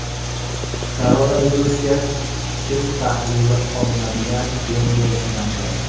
Koronavirusga test tahlili olinadigan bo‘m-bo‘sh markaz.